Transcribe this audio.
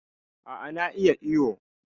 A' a na iya iwo.